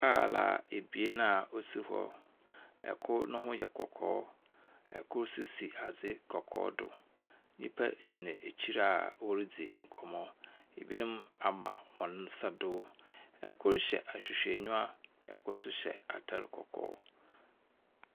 Kaar ebien a wosi hɔ. Kor no ho yɛ kɔkɔɔ, kor nso si adze kɔkɔɔ do. Nnipa gyina ekyir a woridzi nkɔmbɔ. Ebinom ama hɔn nsa do. Kor hyɛ ahwehwɛnyiwa. Kor nso hyɛ atar kɔkɔɔ.